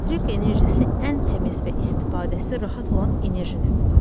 Elektrik enerjisi ən təmiz və istifadəsi rahat olan enerji növüdür.